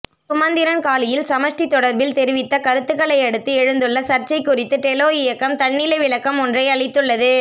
சுமந்திரன் காலியில் சமஷ்டி தொடர்பில் தெரிவித்த கருத்துக்களையடுத்து எழுந்துள்ள சர்ச்சை குறித்து டெலோ இயக்கம் தன்னிலை விளக்கம் ஒன்றை அளித்துள்ளது